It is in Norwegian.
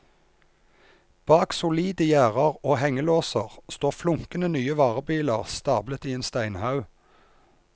Bak solide gjerder og hengelåser står flunkende nye varebiler stablet i en steinhaug.